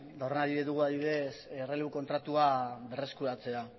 horren adibide dugu adibidez errelebo kontratua berreskuratzea